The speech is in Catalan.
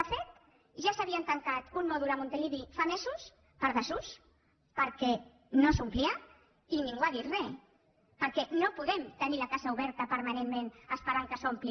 de fet ja s’havia tancat un mòdul a montilivi fa mesos per desús perquè no s’omplia i ningú ha dit re perquè no podem tenir la casa oberta permanentment esperant que s’ompli